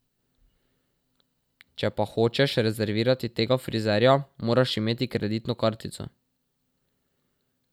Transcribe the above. Če pa hočeš rezervirati tega frizerja, moraš imeti kreditno kartico.